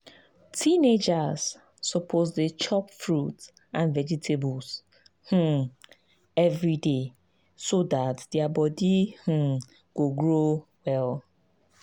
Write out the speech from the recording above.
teenagers suppose to dey chop fruit and vegetables um every day so dat their body um go grow well.